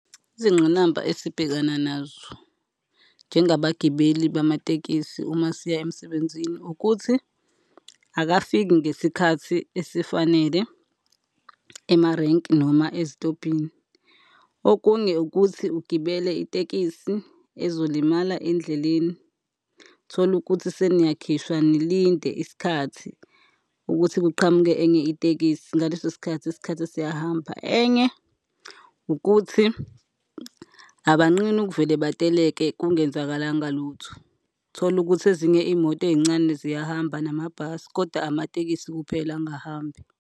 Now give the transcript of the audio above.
Izingqinamba esibhekana nazo njengabagibeli bamatekisi uma siya emsebenzini ukuthi, akafiki ngesikhathi esifanele emarenki noma ezitobhini. Okunye ukuthi ugibele itekisi ezolimala endleleni. Thole ukuthi seniyakhishwa nilinde isikhathi ukuthi kuqhamuke enye itekisi, ngaleso sikhathi, isikhathi siyahamba. Enye ukuthi, abanqeni ukuvele bateleke kungenzakalanga lutho. Thole ukuthi ezinye imoto ey'ncane ziyahamba namabhasi, kodwa amatekisi kuphela angahambi.